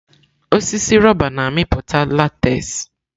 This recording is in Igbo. Osisi rọba na-amịpụta látez.